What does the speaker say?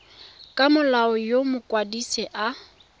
ka molao yo mokwadise a